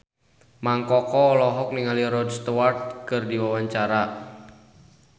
Mang Koko olohok ningali Rod Stewart keur diwawancara